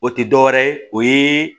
O tɛ dɔwɛrɛ ye o ye